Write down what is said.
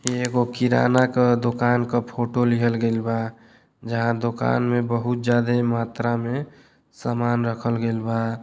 ई एगो किराना क दुकान क फोटो लिहल गईल बा। जहाँ दुकान में बहुत ज़्यादे मात्रा में समान रखल गईल बा।